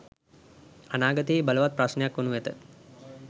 අනාගතයෙහි බලවත් ප්‍රශ්නයක් වනු ඇත.